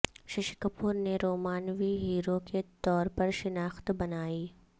ششی کپور نے رومانوی ہیرو کے طورپر شناخت بنائی